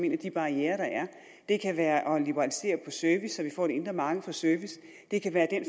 en af de barrierer der er det kan være at liberalisere service så vi får et indre marked for service det kan være den